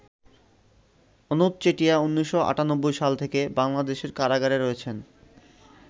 অনুপ চেটিয়া ১৯৯৮সাল থেকে বাংলাদেশের কারাগারে রয়েছেন।